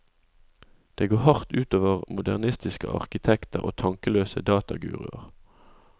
Det går hardt ut over modernistiske arkitekter og tankeløse dataguruer.